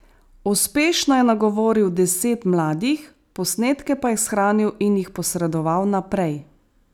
Uspešno je nagovoril deset mladih, posnetke pa je shranil in jih posredoval naprej.